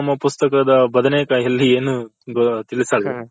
ನಮ್ಮ ಪುಸ್ತಕದ ಬದನೇಕಾಯಲ್ಲಿ ಏನು ತಿಳಸಲ್ಲ.